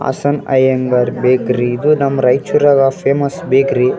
Hassan Iyengar bakery ಇದು ನಮ್ಮ್ ರೈಚೂರಾಗ ಫೇಮಸ್ ಬೇಕ್ರಿ .